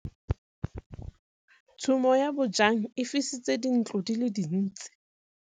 Tshumô ya bojang e fisitse dintlo di le dintsi.